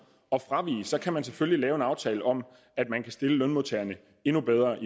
at fravige det så kan man selvfølgelig lave en aftale om at man kan stille lønmodtagerne endnu bedre